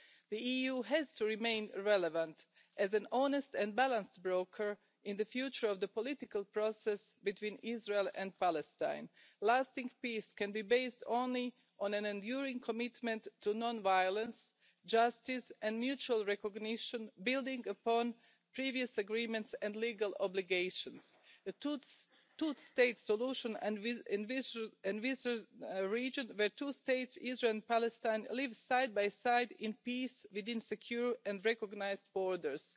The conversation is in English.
The EU has to remain relevant as an honest and balanced broker in the future of the political process between Israel and Palestine. Lasting peace can be based only on an enduring commitment to non violence, justice and mutual recognition, building upon previous agreements and legal obligations. The two state solution envisaged in the region, where two states, Israel and Palestine, live side by side in peace within secure and recognised borders.